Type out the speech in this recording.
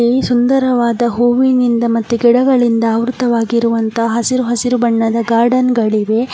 ಈ ಸುಂದರವಾದ ಹೂವಿನಿಂದ ಮತ್ತು ಗಿಡಗಳಿಂದ ಆವೃತವಾಗಿರುವಂತಹ ಹಸಿರು ಹಸಿರು ಬಣ್ಣದ ಗಾರ್ಡನ್ಗಳಿವೆ --